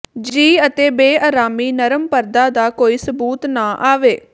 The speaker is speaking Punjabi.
ਜੀ ਅਤੇ ਬੇਆਰਾਮੀ ਨਰਮ ਪਰਦਾ ਦਾ ਕੋਈ ਸਬੂਤ ਨਾ ਆਵੇ